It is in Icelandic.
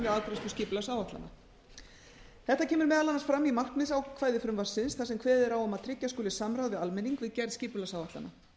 afgreiðslu skipulagsáætlunar þetta kemur meðal annars fram í markmiðsákvæði frumvarpsins þar sem kveðið er á um að tryggja skuli samráð við almenning við gerð skipulagsáætlana